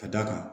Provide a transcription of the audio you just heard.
Ka d'a kan